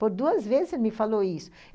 Por duas vezes ele me falou isso.